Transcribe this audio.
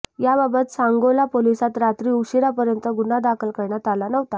याबाबत सांगोला पोलिसात रात्री उशीरापर्यंत गुन्हा दाखल करण्यात आला नव्हता